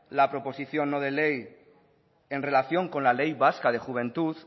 la proposición no de ley en relación con la ley vasca de juventud